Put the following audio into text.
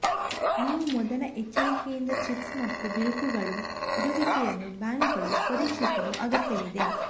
ನೀವು ಮೊದಲ ಎಚ್ಚರಿಕೆಯಿಂದ ಚಿಪ್ಸ್ ಮತ್ತು ಬಿರುಕುಗಳು ಇರುವಿಕೆಯನ್ನು ಬ್ಯಾಂಕುಗಳು ಪರೀಕ್ಷಿಸಲು ಅಗತ್ಯವಿದೆ